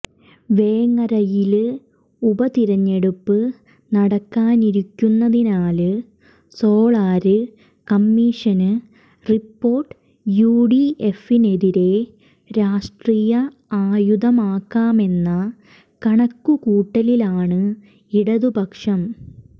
വേങ്ങരയില് ഉപ തിരഞ്ഞെടുപ്പ് നടക്കാനിരിക്കുന്നതിനാല് സോളാര് കമ്മീഷന് റിപ്പോര്ട്ട് യുഡിഎഫിനെതിരേ രാഷ്ട്രീയ ആയുധമാക്കാമെന്ന കണക്കുകൂട്ടലിലാണ് ഇടതുപക്ഷം